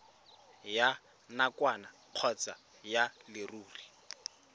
ya nakwana kgotsa ya leruri